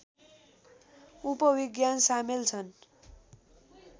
उपविज्ञान सामेल छन्